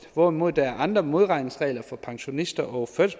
hvorimod der er andre modregningsregler for pensionister og